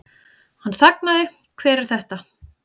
Hann þagnaði, Hver er þetta?